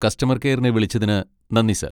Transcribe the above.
Customer കെയറിനെ വിളിച്ചതിന് നന്ദി, സർ.